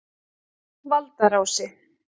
Valdarási